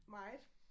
Meget